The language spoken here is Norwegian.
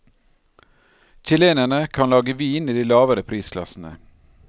Chilenerne kan lage vin i de lavere prisklassene.